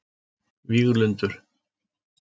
Víglundur